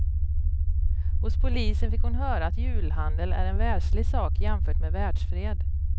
Hos polisen fick hon höra att julhandel är en världslig sak jämfört med världsfred.